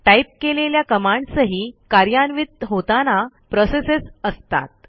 type केलेल्या कमांड्सही कार्यान्वित होताना प्रोसेसच असतात